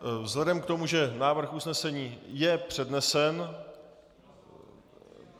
Vzhledem k tomu, že návrh usnesení je přednesen...